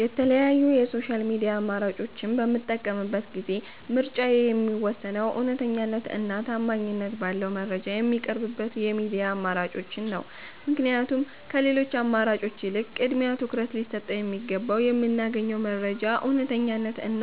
የተለያዩ የ ሶሻል ሚድያ አማራጮች በምጠቀምበት ጊዜ ምርጫዬ የሚወሰነው እውነተኛነት እና ታማኝት ባለው መረጃ ሚቀርብበት የሚድያ አማራጮችን ነው። ምክንያቱም ከሌሎቺ አማራጮች ይልቅ ቅድሚያ ትኩረት ሊሰጠው የሚገባው የምናገኘው መረጃ እውነተኛነት እና